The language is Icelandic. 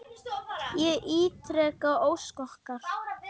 Ég ítreka ósk okkar.